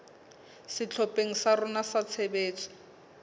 sehlopheng sa rona sa tshebetso